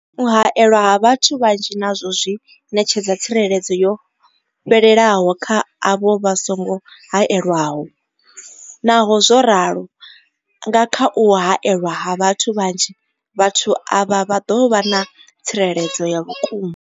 U haelwa ha vhathu vhanzhi nazwo a zwi ṋetshedza tsireledzo yo fhelelaho kha avho vha songo haelwaho, Naho zwo ralo, nga kha u haelwa ha vhathu vhanzhi, vhathu avha vha ḓo vha na tsireledzo ya vhukuma.